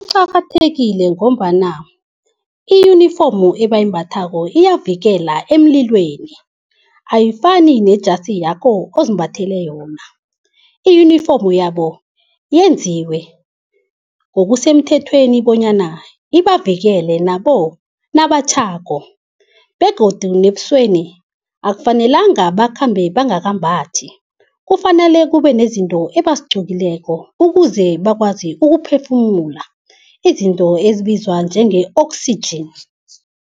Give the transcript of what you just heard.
Kuqakathekile ngombana i-uniform ebayimbathako iyavikela emlilweni, ayifani nejasi yakho ozimbathele yona. I-uniform yabo yenziwe, ngokusemthethweni bonyana ibavikele nabo nabatjhako begodu nebusweni akufanelanga bakhambe bangakambathi. Kufanele kubenezinto ebazigqokileko ukuze bakwazi ukuphefumula izinto ezibizwa njenge-oxygen.